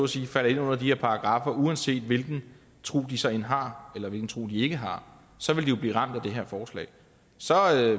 sige falder ind under de her paragraffer uanset hvilken tro de så end har eller hvilken tro de ikke har så vil de jo blive ramt af det her forslag så